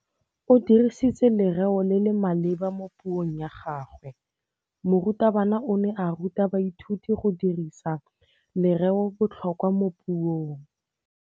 O dirisitse lerêo le le maleba mo puông ya gagwe. Morutabana o ne a ruta baithuti go dirisa lêrêôbotlhôkwa mo puong.